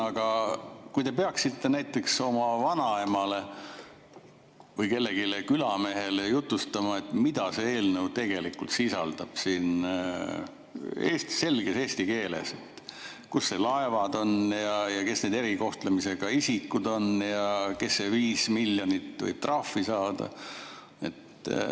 Aga kui te peaksite näiteks oma vanaemale või kellelegi külamehele jutustama, mida see eelnõu tegelikult sisaldab, selges eesti keeles, kus need laevad on ja kes need erikohtlemisega isikud on ja kes see 5 miljonit võib trahvi saada?